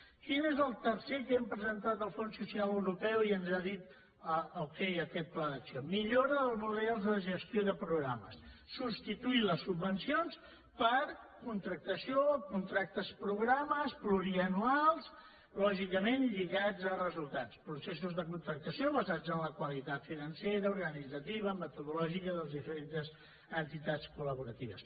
quin és el tercer que hem presentat al fons social europeu i ens ha dit okay a aquest pla d’acció millora dels models de gestió de programes substituir les subvencions per contractació contractes programa plurianuals lògicament lligats a resultats processos de contractació basats en la qualitat financera organitzativa metodològica de les diferents entitats col·laboradores